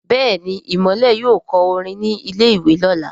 Béèni Imole yóò kọ orin ní ilè ìwé lọla.